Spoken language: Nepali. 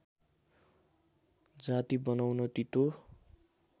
जाति बनाउन तीतो